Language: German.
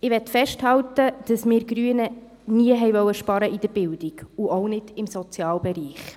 Ich möchte festhalten, dass wir Grüne in der Bildung nie sparen wollten und auch nicht im Sozialbereich.